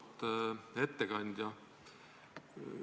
Auväärt ettekandja!